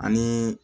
Ani